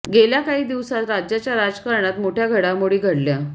गेल्या काही दिवसांत राज्याच्या राजकारणात मोठ्या घडामोडी घडल्या